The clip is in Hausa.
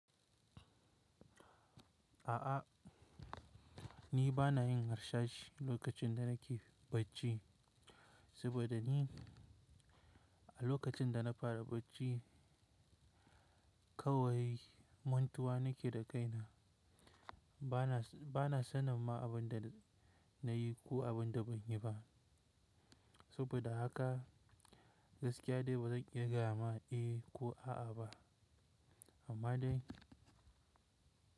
A'a, ni ba na yin harsashi lokacin da na ke bacci, saboda ni a lokacin da na fara bacci kawai mantuwa na ke da kaina. Ba na, ba na sanin ma abin da na yi ko abin da ban yi ba. Saboda haka gaskiya dai ba zan iya gaya ma eh ko a'a ba. Amma dai.